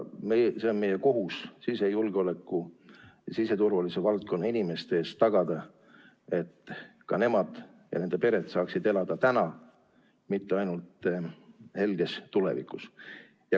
Meie kohus sisejulgeoleku ja siseturvalisuse valdkonna inimeste ees on tagada, et ka nemad ja nende pered saaksid elada täna, mitte ainult helges tulevikus.